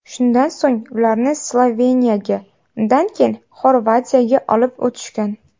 Shundan so‘ng ularni Sloveniyaga, undan keyin Xorvatiyaga olib o‘tishgan.